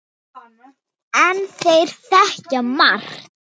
En þeir þekkja margt.